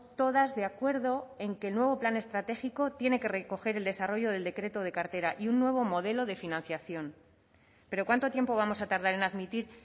todas de acuerdo en que el nuevo plan estratégico tiene que recoger el desarrollo del decreto de cartera y un nuevo modelo de financiación pero cuánto tiempo vamos a tardar en admitir